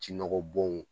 Ji nɔgɔ bɔn